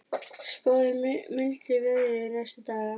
Spáð er mildu veðri næstu daga